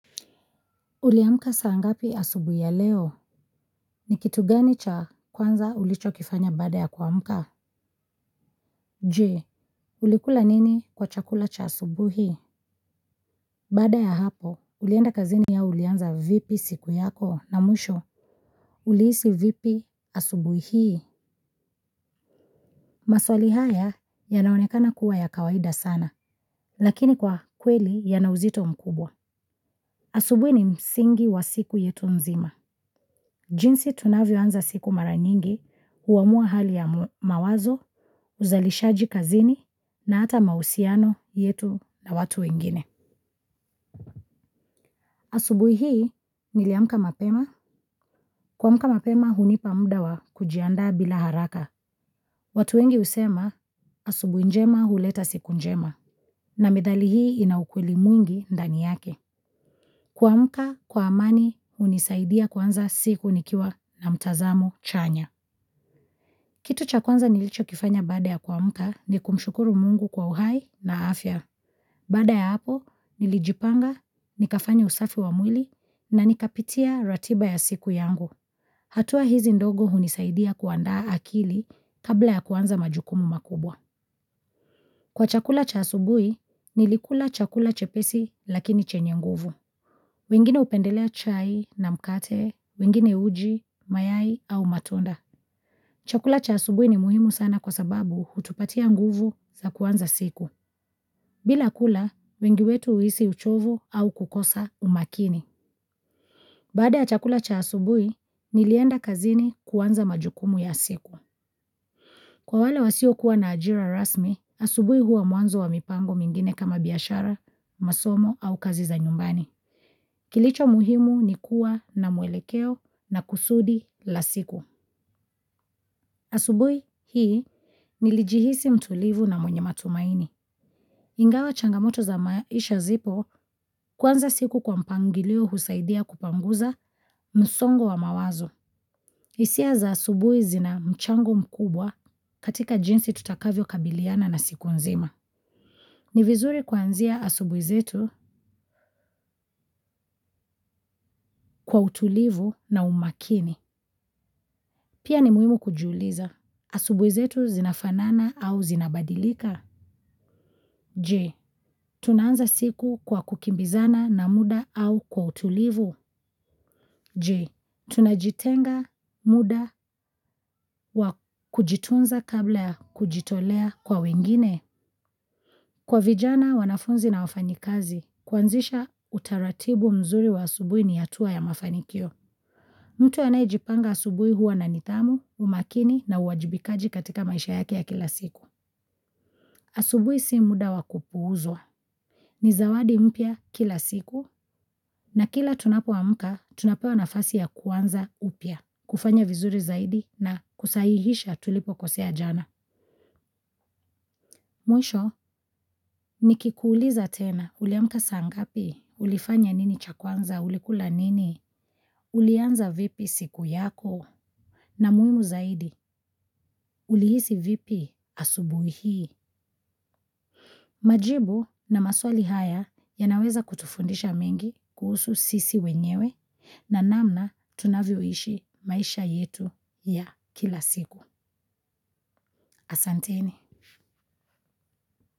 Uliamka saa ngapi asubui ya leo? Ni kitu gani cha kwanza ulicho kifanya bada ya kuamka? Je, ulikula nini kwa chakula cha asubui? Baada ya hapo, ulienda kazini au ulianza vipi siku yako na mwisho ulihisi vipi asubui hii? Maswali haya yanaonekana kuwa ya kawaida sana, lakini kwa kweli yana uzito mkubwa. Asubui ni msingi wa siku yetu mzima. Jinsi tunavyo anza siku mara nyingi huamua hali ya mawazo, uzalishaji kazini na hata mausiano yetu na watu wengine. Asubui hii niliamka mapema. Kuamka mapema hunipa muda wa kujianda bila haraka. Watu wengi usema asubui njema huleta siku njema na medhali hii ina ukweli mwingi ndani yake. Kuamka kwa amani unisaidia kuanza siku nikiwa na mtazamo chanya. Kitu cha kwanza nilicho kifanya baada ya kuamka ni kushukuru mungu kwa uhai na afya. Bada ya hapo, nilijipanga, nikafanya usafi wa mwili na nikapitia ratiba ya siku yangu. Hatua hizi ndogo hunisaidia kuandaa akili kabla ya kuanza majukumu makubwa. Kwa chakula cha asubui, nilikula chakula chepesi lakini chenye nguvu. Wengine upendelea chai na mkate, wengine uji, mayai au matonda. Chakula cha asubui ni muhimu sana kwa sababu hutupatia nguvu za kuanza siku. Bila kula, wengi wetu huhisi uchovu au kukosa umakini. Baada ya chakula cha asubui, nilienda kazini kuanza majukumu ya siku. Kwa wale wasio kuwa na ajira rasmi, asubui huwa mwanzo wa mipango mingine kama biashara, masomo au kazi za nyumbani. Kilicho muhimu ni kuwa na mwelekeo na kusudi la siku. Asubui hii nilijihisi mtulivu na mwenye matumaini. Ingawa changamoto ya maisha zipo kuanza siku kwa mipangilio usaidia kupanguza msongo wa mawazo. Isia za asubui zina mchango mkubwa katika jinsi tutakavyo kabiliana na siku nzima. Ni vizuri kuanzia asubui zetu kwa utulivu na umakini. Pia ni muhimu kujiuliza. Asubuizetu zinafanana au zinabadilika? Je. Tunanza siku kwa kukimbizana na muda au kwa utulivu? Je. Tunajitenga muda wa kujitunza kabla ya kujitolea kwa wengine? Kwa vijana wanafunzi na wafayikazi kuasisha utaratibu mzuri wa asubui ni hatua ya mafanikio. Mtu anayejipanga asubui huwa na nidhamu, umakini na uwajibikaji katika maisha yake ya kila siku. Asubui si muda wakupuuzwa. Nizawadi mpya kila siku na kila tunapo amuka, tunapewa nafasi ya kuanza upya. Kufanya vizuri zaidi na kusahihisha tulipokosea jana. Mwisho, nikikuuliza tena uliamka sangapi, ulifanya nini cha kwanza, ulikula nini, ulianza vipi siku yako. Na muhimu zaidi, uliihisi vipi asubui hii. Majibu na maswali haya yanaweza kutufundisha mengi kuhusu sisi wenyewe na namna tunavyoishi maisha yetu ya kila siku. Asanteni.